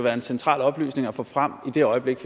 en central oplysning at få frem i det øjeblik